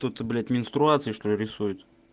то то блять менструации что ли рисует